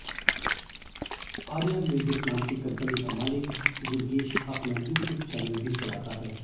Arya Music नाम की कंपनी का मालिक दुर्गेश अपना यूट्यूब चैनल भी चलाता है